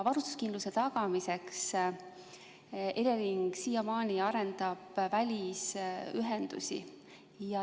Varustuskindluse tagamiseks arendab Elering siiamaani välisühendusi.